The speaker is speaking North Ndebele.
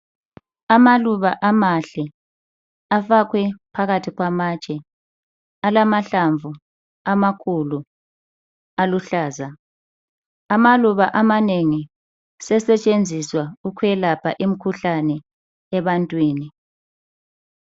Amaluba amahle afakwe phakathi kwamatshe alamahlamvu amakhulu aluhlaza. Amaluba amanengi sesetshenziswa ukwelapha imikhuhlane ebantwini